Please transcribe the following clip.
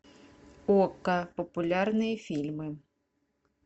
окко популярные фильмы